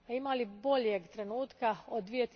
A ima li boljeg trenutka od